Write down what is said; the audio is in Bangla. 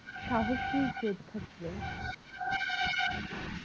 সাহসী যোদ্ধা ছিলেন।